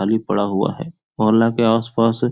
खाली पड़ा हुआ है मोहल्ला के आसपास --